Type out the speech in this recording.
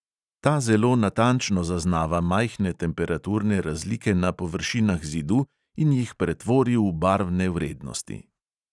Ta zelo natančno zaznava majhne temperaturne razlike na površinah zidu in jih pretvori v barvne vrednosti.